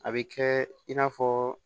A bɛ kɛ i n'a fɔ